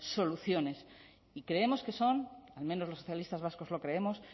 soluciones y creemos que son al menos los socialistas vascos lo creemos